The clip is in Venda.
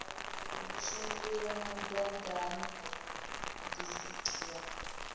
u tshimbila badani disiki ya